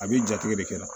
A b'i jatigɛ de kɛ